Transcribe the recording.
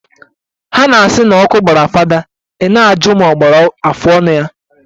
Ha na-asi n'ọkụ gbara fada i na-ajụ ma o gbakwara afọọnụ ya